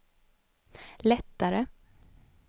lättare